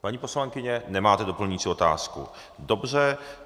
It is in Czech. Paní poslankyně, nemáte doplňující otázku, dobře.